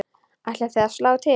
Ætlið þið að slá til?